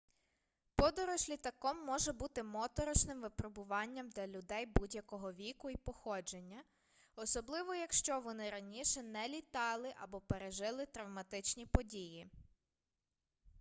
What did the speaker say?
подорож літаком може бути моторошним випробуванням для людей будь-якого віку і походження особливо якщо вони раніше не літали або пережили травматичні події